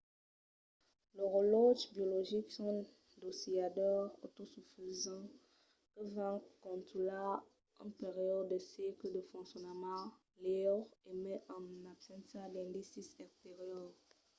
los relòtges biologics son d'oscilladors autosufisents que van contunhar un periòde de cicle de foncionament liure e mai en abséncia d'indicis exteriors